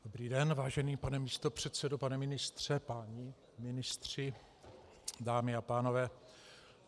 Dobrý den, vážený pane místopředsedo, pane ministře, páni ministři, dámy a pánové.